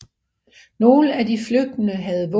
Nogle af de flygtende havde våben